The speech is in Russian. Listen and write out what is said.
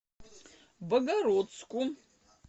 богородску